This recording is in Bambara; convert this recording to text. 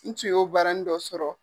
N tun y'o baaranin dɔ sɔrɔ.